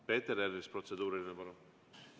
Peeter Ernits, protseduuriline, palun!